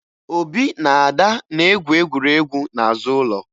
Obi na Ada na-egwu egwuregwu n'azụ ụlọ